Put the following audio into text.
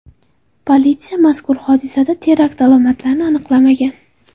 Politsiya mazkur hodisada terakt alomatlarini aniqlamagan.